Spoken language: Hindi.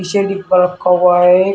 जमीन पर रखा हुआ है।